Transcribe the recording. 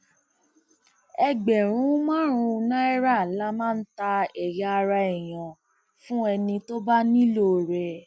ẹgbẹrún márùnún náírà la máa ń ta ẹyà ara èèyàn fún ẹni tó bá nílò rẹ